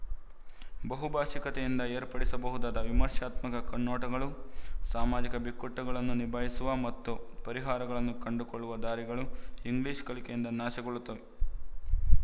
ಬಹುಭಾಶಿಕತೆಯಿಂದ ಏರ್ಪಡಿಸಬಹುದಾದ ವಿಮರ್ಶಾತ್ಮಕ ಕಣ್ಣೋಟಗಳು ಸಾಮಾಜಿಕ ಬಿಕ್ಕಟ್ಟುಗಳನ್ನು ನಿಭಾಯಿಸುವ ಮತ್ತು ಪರಿಹಾರಗಳನ್ನು ಕಂಡುಕೊಳ್ಳುವ ದಾರಿಗಳು ಇಂಗ್ಲಿಶ ಕಲಿಕೆಯಿಂದ ನಾಶಗೊಳ್ಳುತ್ತವೆ